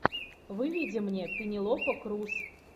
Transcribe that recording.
выведи мне пенелопа крус